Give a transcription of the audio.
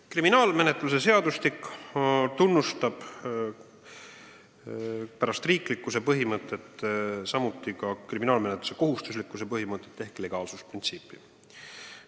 Kriminaalmenetluse seadustik tunnustab peale riiklikkuse põhimõtte samuti kriminaalmenetluse kohustuslikkuse põhimõtet ehk legaalsuse printsiipi.